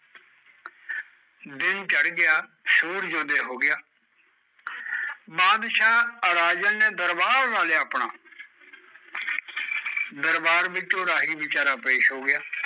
ਦਿਨ ਚੜ ਗਿਆ, ਸੂਰਜ ਉਦੈ ਹੋਗਿਆ, ਬਾਦਸ਼ਾਹ ਰਾਜਨ ਨੇ ਦਰਬਾਰ ਲਾ ਲਿਆ ਆਪਣਾ ਦਰਬਾਰ ਵਿੱਚ ਓਹ ਰਾਹੀ ਵਿਚਾਰਾ ਪੇਸ਼ ਹੋ ਗਿਆ